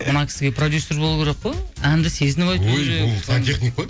мына кісіге продюссер болу керек қой әнді сезініп айту керек өй бұл сантехник қой